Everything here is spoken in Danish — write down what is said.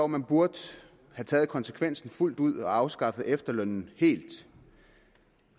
man burde have taget konsekvensen fuldt ud og afskaffet efterlønnen helt